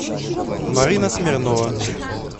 марина смирнова